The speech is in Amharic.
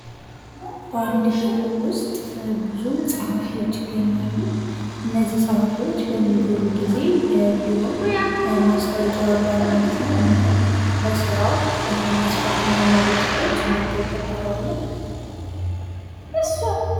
በአንድ ቢሮ ውስጥ ብዙ ፀሐፊዎች ይገኛሉ እነዚህ ፀሐፊዎች በሚጎሉ ጊዜ የቢሮ ማስታወቂያ ያወጣል ማለት ነውና ለስራው መስፈርት የሚያሟሉ ሰዎች መጥተው ይቀጠራሉ ::